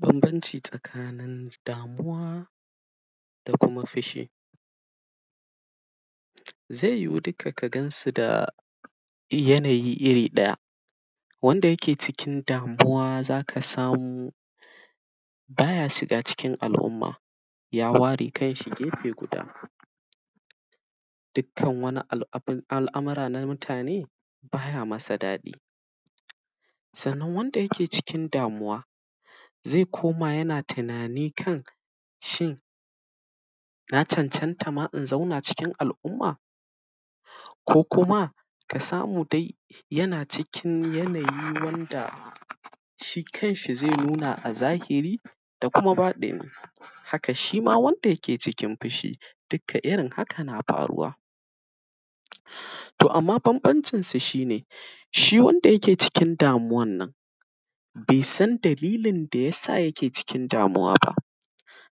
Bambanci tsakanin damuwa da kuma fishi. Ze yiwu dika ka gan su da yanayi iri ɗaya, wanda yake cikin damuwa za ka samu ba ya shiga cikin al’umma, ya ware kanshi gefe guda. Dikkan wani al; abin al’amira na mutane, ba ya masa daɗi. Sannan, wanda yake cikin damuwa, ze koma yana tinani kan shin, ya cancanta ma in zauna cikin al’umma ko kuma ka samu dai, yana cikin yanayi wanda shi kanshi ze nuna a zahiri da kuma baɗini. Haka, shi ma wanda yake cikin fishi dikka irin haka na faruwa. To, amma bambancin su, shi ne, shi wanda yake cikin damuwan, be san dalilin da ya sa yake cikin damuwa ba,